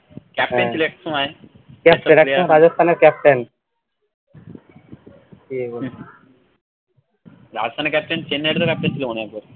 চাপলেন ছিল একসময় রাজস্থানের captain চেন্নাইয়ের তো captain ছিল একবার